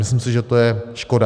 Myslím si, že to je škoda.